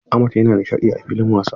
Ahmed yana nishadi a filin wasa.